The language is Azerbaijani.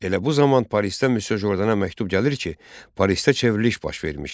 Elə bu zaman Parisdə Misye Jordana məktub gəlir ki, Parisdə çevriliş baş vermişdi.